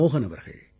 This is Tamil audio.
மோஹன் அவர்கள்